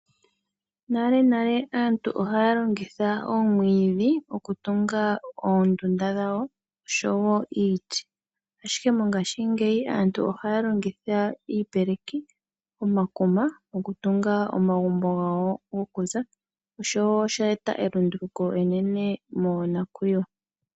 Nalenale aantu oyali haya longitha omwiidhi okutunga oondunda dhawo oshowo iiti. Ashike mongaashingeyi aantu ohaya longitha iipeleki, omakuma okutunga omagumbo gawo gokuza, oshowo osha eta elunduluko enene monakuyiwa.